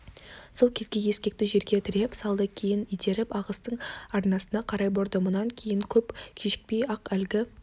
сол кезде ескекті жерге тіреп салды кейін итеріп ағыстың арнасына қарай бұрдым мұнан кейін көп кешікпей-ақ әлгі